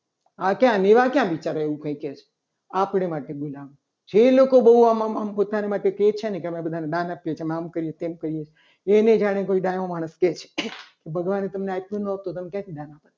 આ તો મેવાડા કઈ કઈ એવું કહે છે. આપણે માટે બોલાવે છે. જે લોકો આમ આમ પોતાની માટે બહુ આમ કહે છે. ને અમે બધાને નાના છીએ તમે આમ કરી દો તેમ કરી દો. એને જાણે કોઈ ડાયો માણસ કહે છે. ભગવાનને તમને આપ્યું નથી તો તમે ક્યાંથી દાન કરો છો.